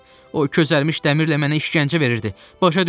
O közərmiş dəmirlə mənə işgəncə verirdi.